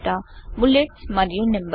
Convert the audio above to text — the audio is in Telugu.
బులెట్స్ మరియు నంబరింగ్